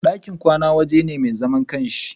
ɗakin kwana waje ne mai zaman ƙanshi.